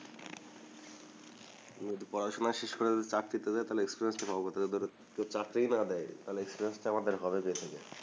পড়াশোনা শেষ করে যদি চাকরিতে যায় তাহলে টা পাব কোথায় কেও চাকরিই না দেয় তাহলে টা আমাদের হবে কোথেকে